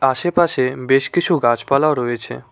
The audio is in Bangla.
আশেপাশে বেশ কিছু গাছপালাও রয়েছে।